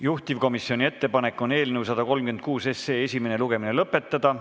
Juhtivkomisjoni ettepanek on eelnõu 136 esimene lugemine lõpetada.